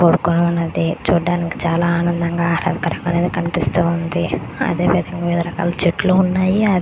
కోర్టునే ఉన్నది. చూడడానికి చాలా ఆనందంగా ఆహ్లాదకరంగ కనిపిస్తుంది. అదే విదంగా వేరే రకంగా చెట్లు ఉన్నాయి.